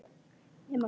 Nema hvað?